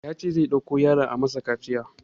Yace a ɗauko yaron can a masa kaciya